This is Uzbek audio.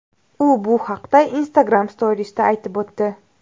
U bu haqda Instagram Stories’da aytib o‘tdi.